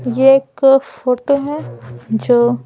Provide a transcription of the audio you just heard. ये एक फोटो है जो --